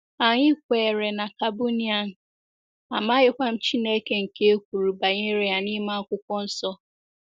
Anyị kweere na Kabunian, amaghịkwa m Chineke nke e kwuru banyere ya n'ime Akwụkwọ Nsọ. ”